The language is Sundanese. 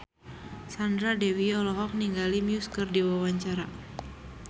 Sandra Dewi olohok ningali Muse keur diwawancara